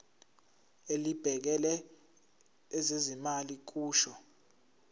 elibhekele ezezimali kusho